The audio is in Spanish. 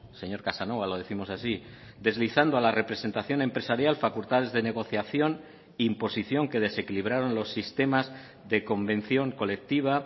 señor casanova lo décimos así deslizando a la representación empresarial facultades de negociación e imposición que desequilibraron los sistemas de convención colectiva